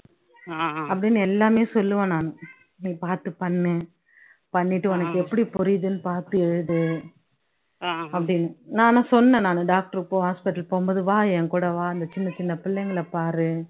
அப்படின்னு எல்லாமே சொல்லுவேன் நானு நீ பாத்து பண்ணு பண்ணிட்டு உனக்கு எப்படி புரியுதுன்னு பாத்து எழுது அப்படின்னு நான் ஆனா சொன்னேன் நானு doctor போ hospital போகும் போது வா எங்கூட வா, அந்த சின்ன சின்ன பிள்ளைங்களை பாரு